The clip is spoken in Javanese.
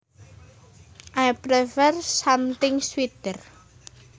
I prefer something sweeter